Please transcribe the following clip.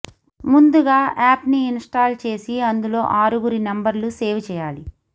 ముందుగా యాప్ని ఇన్స్టాల్ చేసి అందులో ఆరుగురి నెంబర్లు సేవ్ చేయాలి